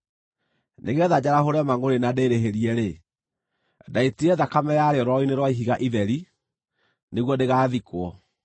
Nĩgeetha njarahũre mangʼũrĩ na ndĩĩrĩhĩrie-rĩ, ndaitire thakame yarĩo rwaro-inĩ rwa ihiga itheri, nĩguo ndĩgathikwo.